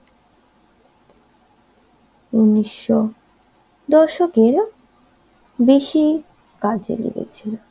উনিশও দশকের বেশি কাজে লেগেছিল